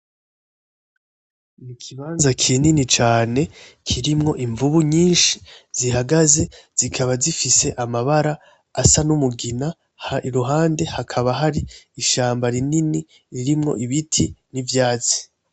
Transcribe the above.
Ikibanze kinini cane kirimo invubu nyinshi zihagaze zikaba zifise amabara asa n'umugina, iruhande hakaba hari ishamba rinini ririmo ibiti nivyatsi.